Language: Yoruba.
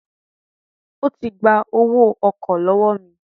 Ó ti gba owó ọkọ̀ lọ́wọ́ mi